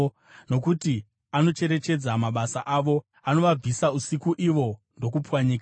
Nokuti anocherechedza mabasa avo, anovabvisa usiku uye vanopwanyiwa.